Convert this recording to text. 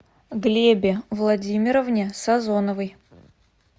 глебе владимировне сазоновой